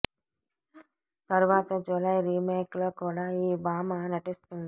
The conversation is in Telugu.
తరువాత జులాయి రీమేక్ లో కూడా ఈ భామ నటిస్తుంది